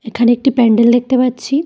এখানে একটি প্যান্ডেল দেখতে পাচ্ছি।